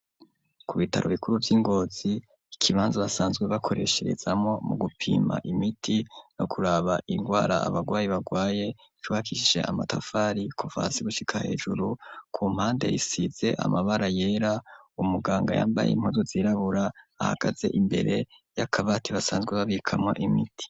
Ku bitaro bikuru vy'i Ngozi, ikibanza basanzwe bakoresherezamwo mu gupima imiti no kuraba ingwara abagwayi barwaye, cubakishije amatafari kuva hasi gushika hejuru, ku mpande isize amabara yera, umuganga yambaye impuzu zirabura imbere y’akabati basanzwe babikamwo imiti.